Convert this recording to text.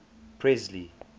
presley